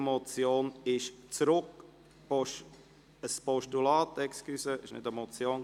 Entschuldigen Sie, es ist keine Motion, sondern ein Postulat.